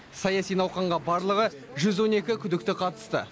саяси науқанға барлығы жүз он екі күдікті қатысты